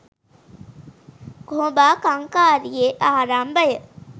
කොහොඹා කංකාරියේ ආරම්භය